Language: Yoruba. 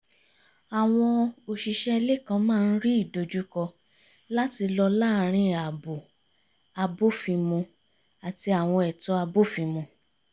àwọn òṣìṣẹ́ ilé kan máa ń rí ìdojúkọ láti lọ láàrin ààbò abófin-mu àti àwọn ẹ̀tọ́ abófin-mu